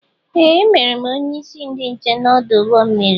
Ee! E mere m onyeisi ndị nche n'ọdụ ụgbọ mmiri.